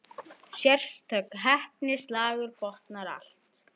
Sérstök heppni, slagur botnar allt.